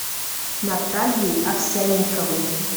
натальей овсянниковой